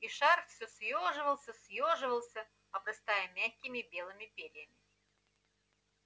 и шар всё съёживался и съёживался обрастая мягкими белыми перьями